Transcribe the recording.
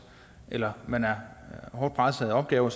eller man hårdt presset af opgaver